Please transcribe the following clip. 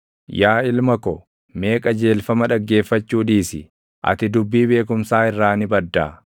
Yaa ilma ko, mee qajeelfama dhaggeeffachuu dhiisi; ati dubbii beekumsaa irraa ni baddaa.